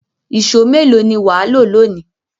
Ìṣó mélòó ni wà á lò lónìí?